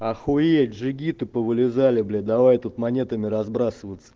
охуеть джигита повылезали блять давай тут монетами разбрасываться